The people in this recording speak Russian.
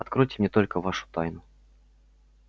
откройте мне только вашу тайну